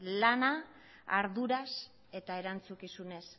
lana arduraz eta erantzukizunez